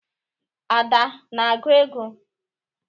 Ada na-agụ ego?